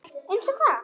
Einsog hvað?